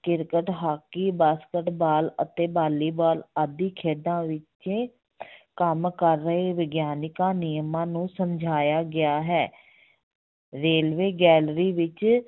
cricket, hockey, basketball ਅਤੇ volleyball ਆਦਿ ਖੇਡਾਂ ਵਿੱਚ ਕੰਮ ਕਰ ਰਹੇ ਵਿਗਿਆਨਿਕ ਨਿਯਮਾਂ ਨੂੰ ਸਮਝਾਇਆ ਗਿਆ ਹੈ railway gallery ਵਿੱਚ